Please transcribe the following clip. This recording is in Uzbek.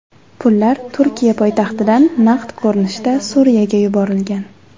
Pullar Turkiya poytaxtidan naqd ko‘rinishda Suriyaga yuborilgan.